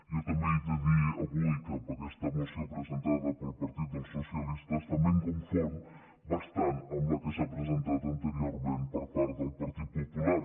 jo també he de dir avui que amb aquesta moció presentada pel partit dels socialistes també em confon bastant amb la que s’ha presentat anteriorment per part del partit popular